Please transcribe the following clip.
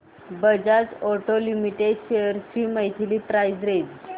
Bajaj auto limited shares ची monthly price range